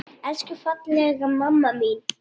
Elsku fallega mamma mín!